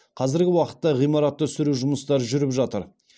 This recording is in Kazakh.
қазіргі уақытта ғимаратты сүру жұмыстары жүріп жатыр